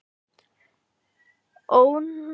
Ónafngreind kona: Alls ekki?